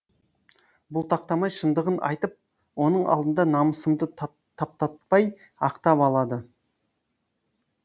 бұлтақтамай шындығын айтып оның алдында намысымды таптатпай ақтап алады